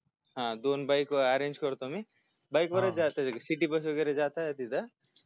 हा दोन BIKE ARANGE करतो मी BIKE वरच जाता येईल CITY मध्ये वैगरे जाताना तिथं